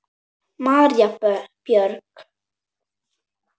María Björg.